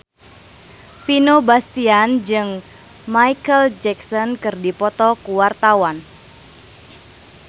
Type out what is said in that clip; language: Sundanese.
Vino Bastian jeung Micheal Jackson keur dipoto ku wartawan